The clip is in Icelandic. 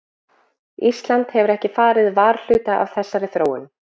Ísland hefur ekki farið varhluta af þessari þróun?